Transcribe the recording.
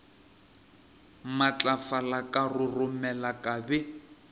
matlafala ka roromela ka be